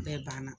Bɛɛ banna